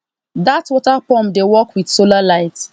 that water pump dey work with solar light